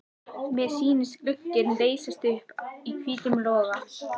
Mér sýndist glugginn leysast upp í hvítum loga.